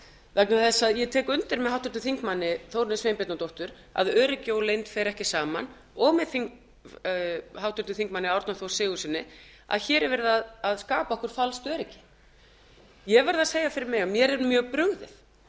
vegna þess að ég tek undir með háttvirtum þingmanni þórunni sveinbjarnardóttur að öryggi og leynd fer ekki saman og með háttvirtum þingmanni árna þór sigurðssyni að hér er verið að skapa okkur falskt öryggi ég verð að segja fyrir mig að mér er mjög brugðið